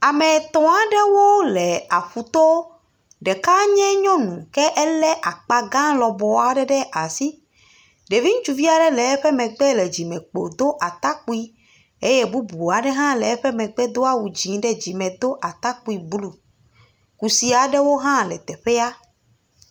Ame etɔ̃ aɖewo le aƒu to. Ɖeka nye nyɔnu ke ele akpa gã lɔbɔ aɖe ɖe asi. Ɖevi ŋutsuvi aɖe le eƒe megbe le dzime kpo do atakpui. Eye bubu aɖe hã le eƒe megbe doa awu dzi ɖe dzime do atakpui blu. Kusi aɖewo hã le teƒea.